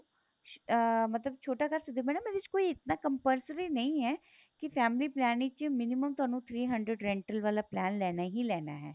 ਅਹ ਮਤਲਬ ਛੋਟਾ ਕਰ ਸਕਦੇ ਓ ਮੈਡਮ ਇਹਦੇ ਚ ਕੋਈ ਇਤਨਾ compulsory ਨਹੀਂ ਏ ਕੀ family plan ਵਿੱਚ minimum ਤੁਹਾਨੂੰ three hundred rental ਵਾਲਾ plan ਲੈਣਾ ਹੀ ਲੈਣਾ ਹੈ